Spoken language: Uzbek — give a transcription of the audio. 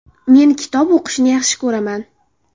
Men kitob o‘qishni yaxshi ko‘raman.